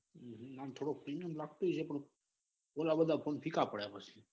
હમ આમ થોડો premium લાગતો હશે પણ પેલા બધા ફોન ફીકા પડે પછી.